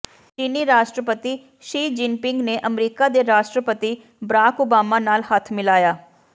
ਚੀਨੀ ਰਾਸ਼ਟਰਪਤੀ Xi Jinping ਨੇ ਅਮਰੀਕਾ ਦੇ ਰਾਸ਼ਟਰਪਤੀ ਬਰਾਕ ਓਬਾਮਾ ਨਾਲ ਹੱਥ ਮਿਲਾਇਆ